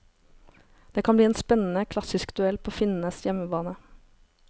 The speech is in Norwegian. Det kan bli en spennende klassisk duell på finnenes hjemmebane.